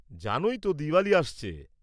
জানোই তো, দিওয়ালী আসছে।